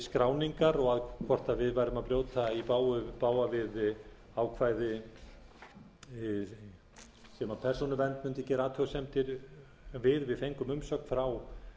skráningar og hvort við værum að brjóta í bága við ákvæði sem persónuvernd mundi gera athugasemdir við við fengum umsögn frá